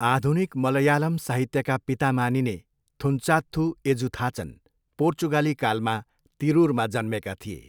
आधुनिक मलयालम साहित्यका पिता मानिने थुन्चाथ्थू एजुथाचन पोर्चुगाली कालमा तिरुरमा जन्मेका थिए।